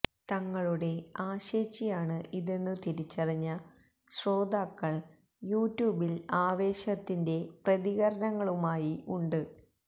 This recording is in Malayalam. തങ്ങളുടെ ആശേച്ചിയാണ് ഇതെന്നു തിരിച്ചറിഞ്ഞ ശ്രോതാക്കൾ യു ട്യൂബിൽ ആവേശത്തിന്റെ പ്രതികരണങ്ങളുമായി ഉണ്ട്